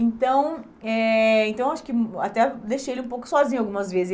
Então, eh então acho que hum até deixei ele um pouco sozinho algumas vezes.